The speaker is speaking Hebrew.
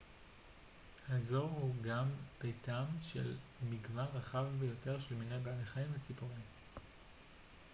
האזור הוא גם ביתם של מגוון רחב ביותר של מיני בעלי חיים וציפורים